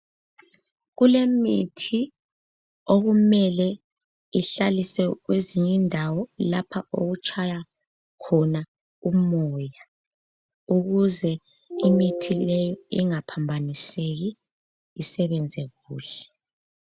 Kulemithi okumele ihlalisiwe kwezinye indawo okutshaywa khona umoya ukuze imithi le ingaphambaniseki isebenze kuhle.